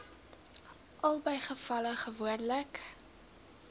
albei gevalle gewoonlik